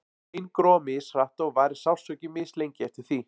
bein gróa mishratt og varir sársauki mislengi eftir því